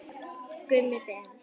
Gummi Ben.